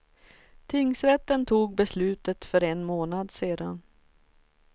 Tingsrätten tog beslutet för en månad sen.